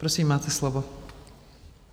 Prosím, máte slovo.